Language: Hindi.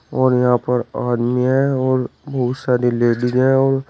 और यहां पर आदमी हैं और बहुत सारी लेडिस हैं और--